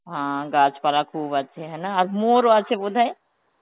অ্যাঁ গাছপালা খুব আছে, হ্যাঁ না আর Hindi ও আছে বোধহয়